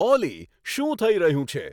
ઓલી શું થઇ રહ્યું છે